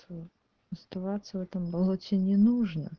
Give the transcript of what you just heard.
оставаться в этом болоте не нужно